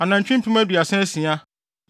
anantwi mpem aduasa asia (36,000),